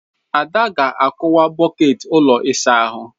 Ada ga-akụwa bọket ụlọ ịsa ahụ.